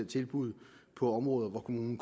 tilbud på områder hvor kommunen